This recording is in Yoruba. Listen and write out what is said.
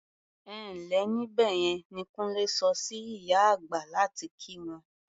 "Ẹ ǹ lẹ́ níbẹ̀ yẹn" ni Kúnlé sọ sí ìyá àgbà láti kí wọn.